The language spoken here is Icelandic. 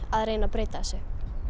að reyna að breyta þessu